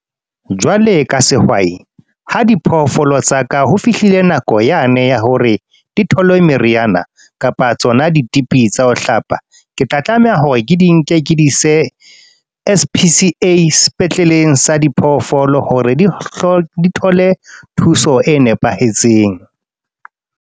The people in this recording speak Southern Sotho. Jwale ka sehwai, ha diphoofolo tsaka ho fihlile nako yane ya hore dithole meriana. Kapa tsona ditipi tsa ho hlapa. Ke tla tlameha ya hore ke di nke ke di ise S_P_C_A's sepetleleng sa diphoofolo hore di thole thuso e nepahetseng.